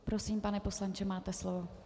Prosím, pane poslanče, máte slovo.